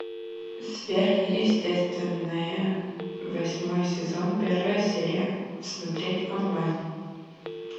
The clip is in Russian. сверхъестественное восьмой сезон первая серия смотреть онлайн